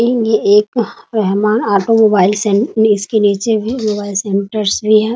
इन्हें एक मेहमान ऑटोमोबाइल इसके नीचे भी मोबाइल सेंटर से है ।